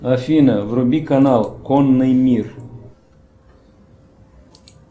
афина вруби канал конный мир